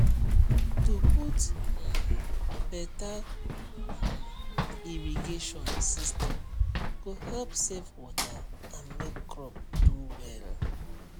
to put um beta um irrigation system go help save water and make crop do well